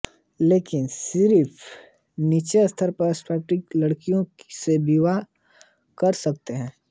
लेकिन लड़के सिर्फ नीचे स्तर की पाटीदार लड़कियों से ही विवाह कर सकते